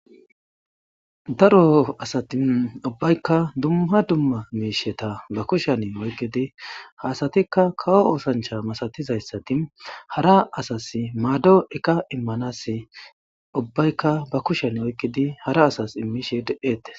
Daro asati ubaykka dumma dumma miishshata ba kushshiyan oyqqidi ,ha asatikka kawo oosanchcha masatizayssati hara asasi maado eqqa immanassi ubaykka ba kushshiyan oyqqidi hara asas immishe de7etees.